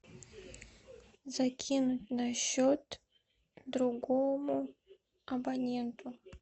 закинуть на счет другому абоненту